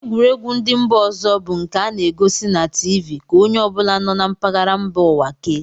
Egwuregwu ndị mba ọzọ bụ nke a na-egosi na tiivii ka onye ọ bụla nọ na mpaghara mba ụwa kee